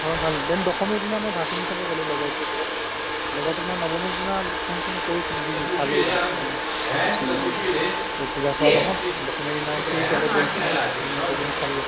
ঘৰত ভাল then দশমীৰ দিনা মই ভাচেনী চাব গ'লো লগৰতোৰ লগত লগৰতোক মই নৱমীৰ দিনা ফোন চোন কৰিছিলো সি নোঠালে ভাল সময়ত সি গুচি গ'ল to পূজা চোৱা নহ'ল দশমীৰ দিনা সিয়ে ক'লে ব'ল যাও then গৈ কিনে চালো